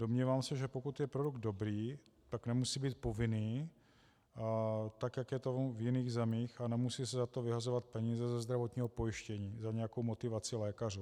Domnívám se, že pokud je produkt dobrý, tak nemusí být povinný, tak jak je tomu v jiných zemích, a nemusí se za to vyhazovat peníze ze zdravotního pojištění, za nějakou motivaci lékařů.